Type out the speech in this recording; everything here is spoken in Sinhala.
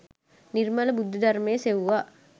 නිර්මල බුද්ධ ධර්මය සෙව්වා.